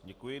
Děkuji.